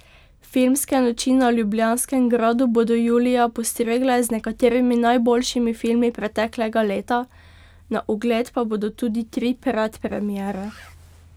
Filmske noči na Ljubljanskem gradu bodo julija postregle z nekaterimi najboljšimi filmi preteklega leta, na ogled pa bodo tudi tri predpremiere.